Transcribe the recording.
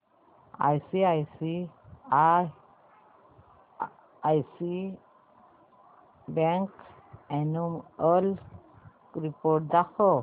ICICI bank annual report दाखव